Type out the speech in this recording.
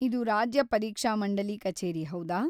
ಇದು ರಾಜ್ಯ ಪರೀಕ್ಷಾಮಂಡಲಿ ಕಚೇರಿ ಹೌದಾ?